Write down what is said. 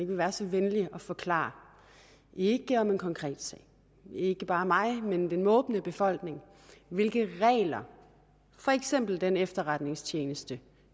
vil være så venlig at forklare ikke om en konkret sag ikke bare mig men den måbende befolkning hvilke regler for eksempel den efterretningstjeneste